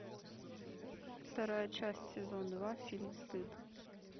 вторая часть сезон два фильм стыд